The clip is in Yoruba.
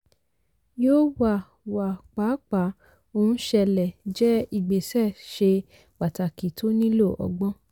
yóò wà wà pàápàá ohun ṣẹlẹ̀ jẹ́ ìgbésẹ̀ ṣe pàtàkì tó nílò ọgbọ́n.